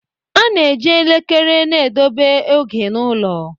A na-eji elekere na-edebe oge n'ụlọ.